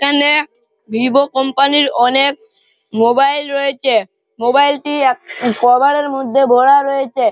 এখানে Vivo company র অনেক মোবাইল রয়েছে মোবাইল -টি এক কভার -এর মধ্যে ভরা রয়েছে।